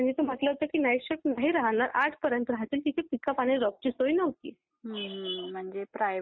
आणि सरकारी मधे आपल्याला आपल्या एजुकेशनची प्यूअर वॅल्यू मिळते प्यूअर पोस्ट मिळते.